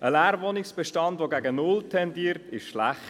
Ein Leerwohnungsbestand, der gegen null tendiert, ist schlecht.